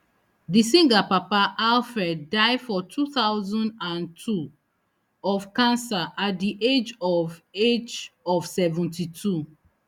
di singer papa alfred die for two thousand and two of cancer at di age of age of seventy-two